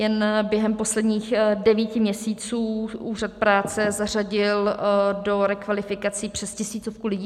Jen během posledních devíti měsíců úřad práce zařadil do rekvalifikací přes tisícovku lidí.